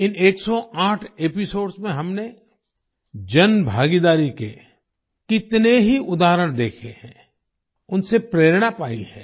इन 108 episodes में हमने जनभागीदारी के कितने ही उदाहरण देखे हैं उनसे प्रेरणा पाई है